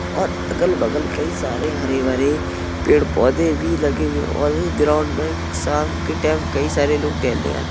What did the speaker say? और अगल बगल कई सारे हरे भरे पेड़ पौधे भी लगे हुए है और इस ग्राउंड में शाम के टाइम कई सारे लोग टहलने आते --